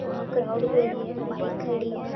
वहां क्राउड भरी हे और बाइक खड़ी है।